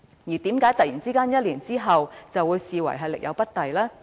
為何在1年之後會突然被視為力有不逮呢？